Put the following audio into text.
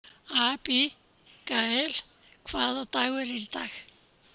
Abigael, hvaða dagur er í dag?